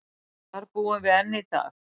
Þar búum við enn í dag.